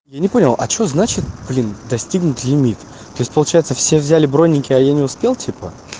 я не понял а что значит блин достигнуть лимит тоесть получается все взяли бронники а я не успел типа